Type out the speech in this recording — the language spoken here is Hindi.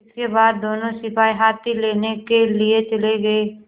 इसके बाद दोनों सिपाही हाथी लेने के लिए चले गए